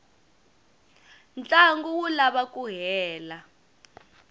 ntlangu wu lava ku hela